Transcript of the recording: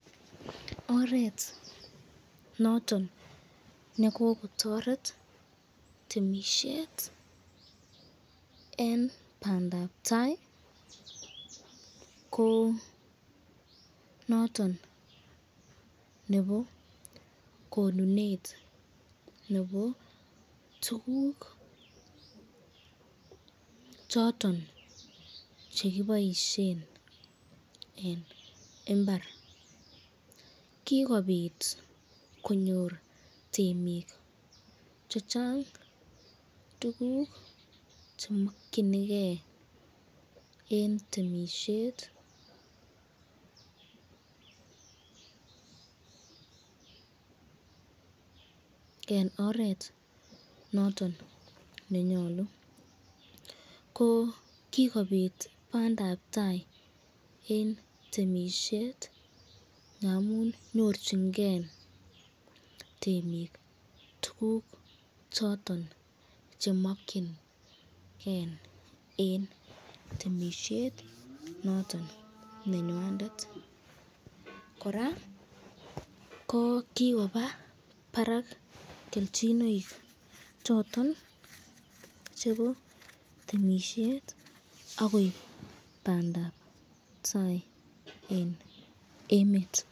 Oret noton nekokotaret temisyet eng bandabtai eng noton nebo tukuk choton chekiboisyen eng imbar , kikobit konyor temik chechang tukuk chemakyinike eng temisyet eng oret noton nenyalu, kikobit bandabtai eng temisyet ngamun nyorchinken temik tukuk choton chemakyinike eng temisyet noton nenywandet, koraa ko kikobit barak kelchinoik choton chebo temisyet akoib bandap tai eng emet.